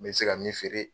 N bɛ se ka min feere